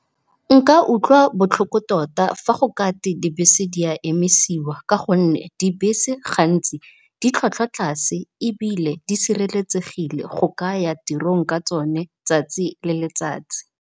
Nka utlwa botlhoko tota fa go kate dibese di a emisiwa ka gonne dibese gantsi ditlhwatlhwa tlase, ebile di sireletsegile go ka ya tirong ka tsone tsatsi le letsatsi.